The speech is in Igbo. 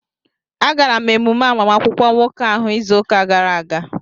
Agara m emume agbamakwụkwọ nwoke ahụ izu ụka gara aga